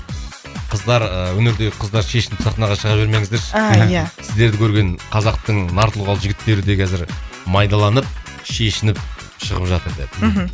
қыздар ы өнердегі қыздар шешініп сахнаға шыға бермеңіздерші а иә сіздерді көрген қазақтың нар тұлғалы жігіттері де қазір майдаланып шешініп шығып жатыр деді мхм